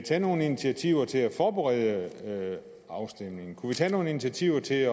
tage nogle initiativer til at forberede afstemningen kunne vi tage nogle initiativer til